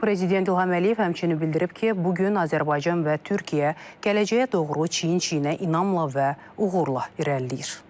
Prezident İlham Əliyev həmçinin bildirib ki, bu gün Azərbaycan və Türkiyə gələcəyə doğru çiyin-çiyinə inamla və uğurla irəliləyir.